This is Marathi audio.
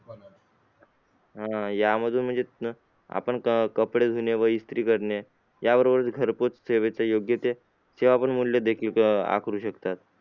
आह यामधून म्हणजे आपण कपडे धुणे व इस्त्री करणे याबरोबरच घरपोच सेवेचा योग्य ते सेवा पण मूल्य आकारू शकतात.